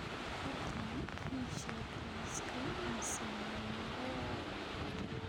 fadlan ii sheeg liiska aan sameeyay